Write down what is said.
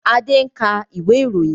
Adé ń ka ìwé ìròyìn